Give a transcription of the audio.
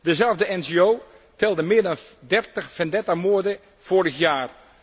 Dezelfde NGO telde meer dan 30 vendetta moorden vorig jaar.